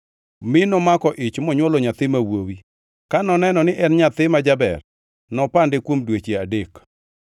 mi nomako ich monywolo nyathi ma wuowi. Ka noneno ni en nyathi ma jaber, nopande kuom dweche adek.